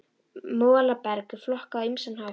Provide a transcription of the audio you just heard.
Molaberg er flokkað á ýmsan hátt.